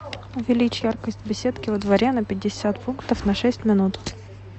увеличь яркость в беседке во дворе на пятьдесят пунктов на шесть минут